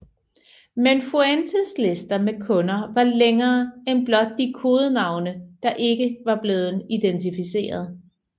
Men Fuentes liste med kunder var længere end blot de kodenavne der ikke var blevet identificeret